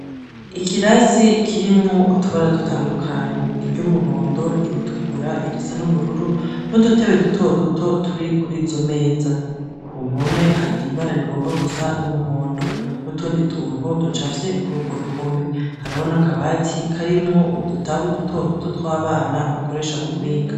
Ikirasi kirimwo utubara dutandukanye. Iry'umuhondo, iritukura, iry'ubururu, n'udutebe duto duto turi kur'izo meza. K'uruhome har'ibara rigomba gusa n'umuhondo, n'utundi tuntu ducafye kuri urwo ruhome. Hariho n'akabati karimwo udutabu duto duto tw'abana bakoresha mu kwiga .